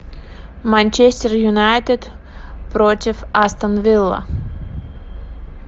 манчестер юнайтед против астон вилла